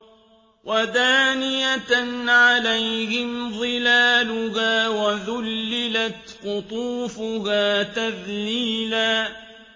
وَدَانِيَةً عَلَيْهِمْ ظِلَالُهَا وَذُلِّلَتْ قُطُوفُهَا تَذْلِيلًا